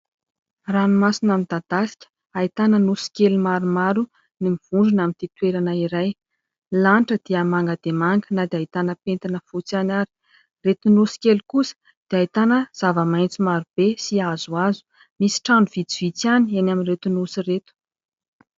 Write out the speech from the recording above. Ranomasina midadasika, ahitana nosy kely maromaro mivondrona amin'ity toerana iray. Ny lanitra dia manga dia manga, na dia ahitana pentina fotsy ihany ary. Ireto nosy kely kosa dia ahitana zava-maitso maro be sy hazohazo. Misy trano vitsivitsy ihany eny amin'ireto nosy ireto.